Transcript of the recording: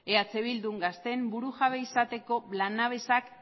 eh bildun gazteen burujabe izateko lanabesak